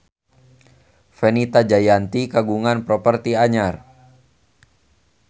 Fenita Jayanti kagungan properti anyar